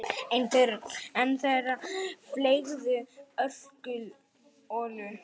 Einn þeirra fleygði ölkollu.